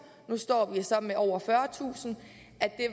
nu står vi så med over fyrretusind